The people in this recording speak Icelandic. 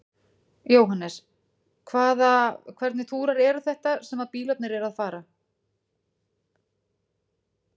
Jóhannes: Hvaða, hvernig túrar eru þetta sem að bílarnir eru að fara?